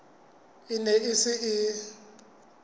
e ne e se e